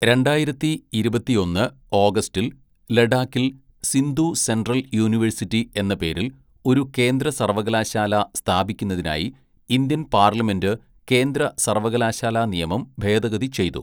രണ്ടായിരത്തി ഇരുപത്തിയൊന്ന് ഓഗസ്റ്റിൽ, ലഡാക്കിൽ സിന്ധു സെൻട്രൽ യൂണിവേഴ്സിറ്റി എന്ന പേരിൽ ഒരു കേന്ദ്ര സർവ്വകലാശാല സ്ഥാപിക്കുന്നതിനായി ഇന്ത്യൻ പാർലമെന്റ് കേന്ദ്രസർവ്വകലാശാലാനിയമം ഭേദഗതി ചെയ്തു.